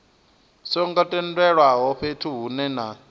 songo tendelwaho fhethu hunwe na